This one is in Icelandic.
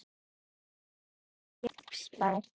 Mynd: Íslensk getspá